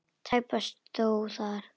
Tæpast þó þar.